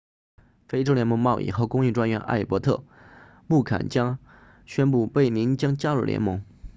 非洲联盟贸易和工业专员艾伯特穆坎加宣布贝宁将加入联盟